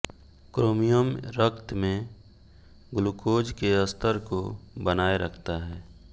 chromium रक्त में glucose के स्तर को बनाए रखता है